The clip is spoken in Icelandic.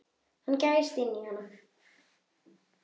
Hann gægist í hann.